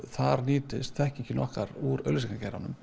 þar nýtist þekkingin okkar úr